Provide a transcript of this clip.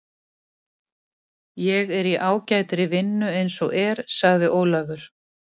Ég er í ágætri vinnu eins og er, sagði Ólafur.